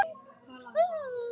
Þeir segja mér ekkert meira.